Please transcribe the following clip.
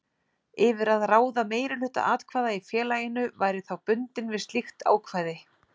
yfir að ráða meirihluta atkvæða í félaginu væri þá bundinn við slíkt ákvæði.